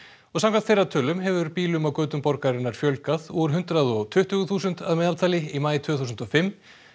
og samkvæmt þeirra tölum hefur bílum á götum borgarinnar fjölgað úr hundrað og tuttugu þúsund að meðaltali í maí tvö þúsund og fimm